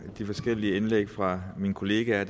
de forskellige indlæg fra mine kollegaer